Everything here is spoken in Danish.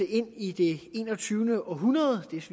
ind i det enogtyvende århundrede